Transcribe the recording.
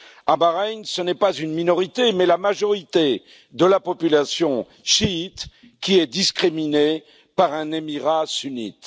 À Bahreïn, ce n'est pas une minorité, mais la majorité de la population chiite qui est discriminée par un émirat sunnite.